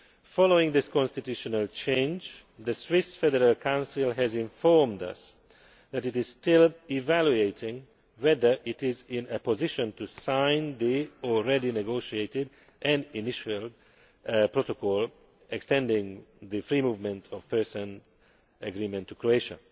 Following this constitutional change, the Swiss Federal Council has informed us that it is still evaluating whether it is in a position to sign the already negotiated and initialled Protocol extending the free movement of persons' agreement to Croatia.